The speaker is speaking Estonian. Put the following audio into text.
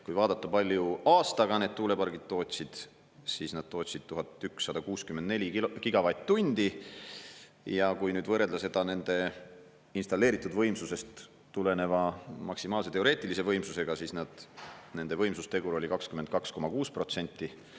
Kui vaadata, palju aastaga need tuulepargid tootsid, siis nad tootsid 1164 gigavatt-tundi, ja kui nüüd võrrelda seda nende installeeritud võimsusest tuleneva maksimaalse teoreetilise võimsusega, siis nende võimsustegur oli 22,6%.